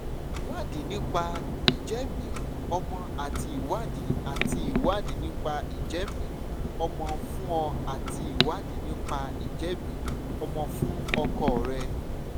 ìwádìí nípa ìjẹ́mìí-ọmọ́ àti ìwádìí àti ìwádìí nípa ìjẹ́mìí-ọmọ́ fún ọ àti ìwádìí nípa ìjẹ́mìí-ọmọ́ fún ọkọ rẹ